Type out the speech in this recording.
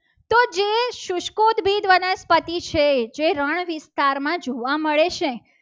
વનસ્પતિ છે. જે રણ વિસ્તારમાં જોવા મળે છે.